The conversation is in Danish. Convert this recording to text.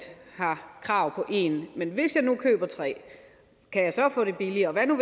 har krav på én men hvis jeg nu køber tre kan jeg så få det billigere hvad nu